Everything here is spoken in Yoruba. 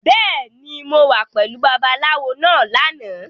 Bẹ́ẹ̀ni, mo wà pẹ̀lú Babaláwo náà lánàá.